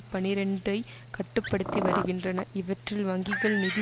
பனிரண்டுஐ கட்டு படுத்தி வருகின்றன இவற்றில் வங்கிகள் நிதி